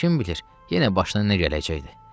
Kim bilir, yenə başına nə gələcəkdi?